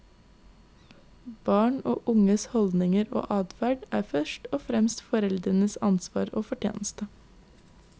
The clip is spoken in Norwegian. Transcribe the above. Barn og unges holdninger og atferd er først og fremst foreldrenes ansvar og fortjeneste.